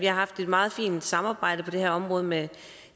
har haft et meget fint samarbejde på det her område med